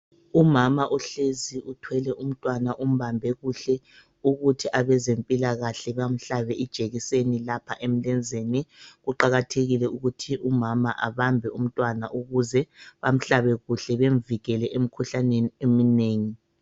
Umama uhlezi uthwele umtwana umbambe kuhle ukuthi abezempilakahle bamhlabe ijekiseni lapha emlenzeni, kuqakathekile ukuthi umama abambe umntwana ukuze bamhlabe kuhle bemvikele umkhuhlaneni eminengi.